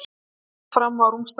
Sest fram á rúmstokkinn.